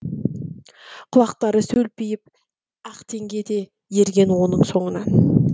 құлақтары сөлпиіп ақтеңге де ерген оның соңынан